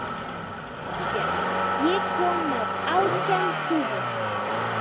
Ísbjörn, ég kom með átján húfur!